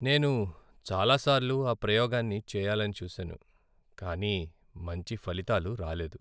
నేను చాలాసార్లు ఆ ప్రయోగాన్నిచేయాలని చూసాను, కానీ మంచి ఫలితాలు రాలేదు.